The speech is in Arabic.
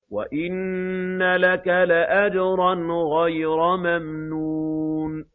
وَإِنَّ لَكَ لَأَجْرًا غَيْرَ مَمْنُونٍ